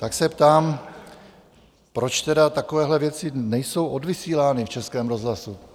Tak se ptám, proč tedy takovéhle věci nejsou odvysílány v Českém rozhlasu?